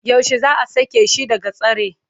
Yaushe za a sake shi daga tsare?